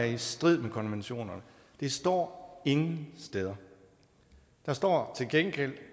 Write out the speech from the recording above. i strid med konventionerne det står ingen steder der står til gengæld